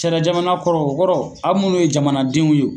Sariya jamana kɔrɔ o kɔrɔ aw munnu ye jamanadenw ye.